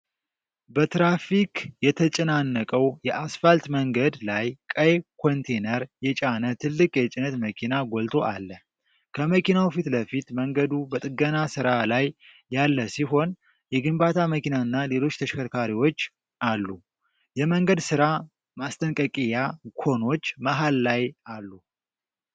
በትራፊክ የተጨናነቀው የአስፋልት መንገድ ላይ ቀይ ኮንቴነር የጫነ ትልቅ የጭነት መኪና ጎልቶ አለ። ከመኪናው ፊት ለፊት መንገዱ በጥገና ሥራ ላይ ያለ ሲሆን፣ የግንባታ መኪናና ሌሎች ተሽከርካሪዎች አሉ። የመንገድ ሥራ ማስጠንቀቂያ ኮኖች መሃል ላይ አሉ።